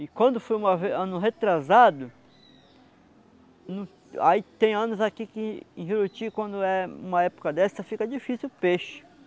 E quando foi uma vez ano retrasado, aí tem anos aqui que em Juruti, quando é uma época dessa, fica difícil o peixe.